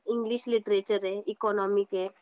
English literature आहे, economic आहे,